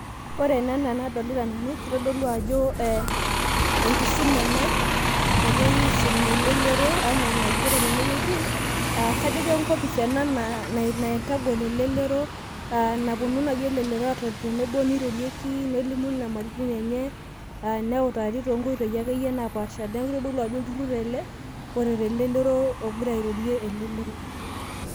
ore ena adolita nanu naa enkisuma ena nagirai aisum elelero , naa kajo kenkopis ena naitagol elelero kepuonu naaji elelero atoni tenebo nelimu nyamalitin enye nereti ,neeeku kitodolu ena ajo olturur oret elelero.